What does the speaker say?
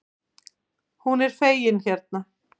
Hún er fengin hérna.